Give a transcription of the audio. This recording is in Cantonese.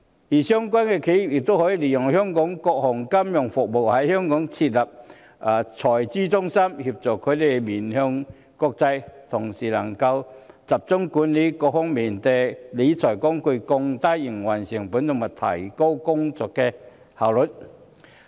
至於相關的企業，它們亦可以利用香港各項金融服務，在香港設立財資中心，協助它們面向國際，同時，讓它們可集中管理各項理財工具，降低營運成本和提高工作效率。